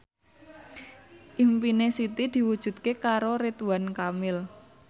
impine Siti diwujudke karo Ridwan Kamil